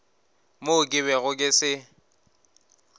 mo ke bego ke se